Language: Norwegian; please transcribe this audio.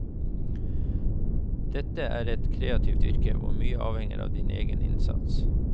Dette er et kreativt yrke hvor mye avhenger av din egen innsats.